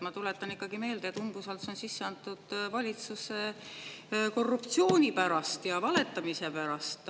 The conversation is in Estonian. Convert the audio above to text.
Ma tuletan ikkagi meelde, et umbusaldus on sisse antud valitsuse korruptsiooni pärast ja valetamise pärast.